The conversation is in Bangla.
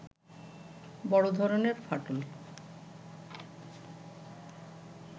বড় ধরনের ফাটল